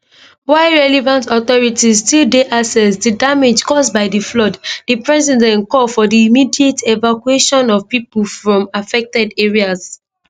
while relevant authorities still dey assess di damage cause by di flood di president call for di immediate evacuation of pipo from affected areas